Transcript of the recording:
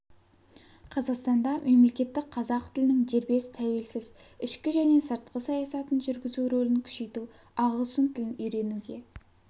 қазақстанда мемлекеттік қазақ тілінің дербес тәуелсіз ішкі және сыртқы саясатын жүргізу рөлін күшейту ағылшын тілін үйренуге